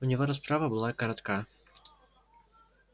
у него расправа была коротка